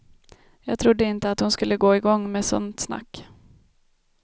Jag trodde inte att hon skulle gå igång med sånt snack.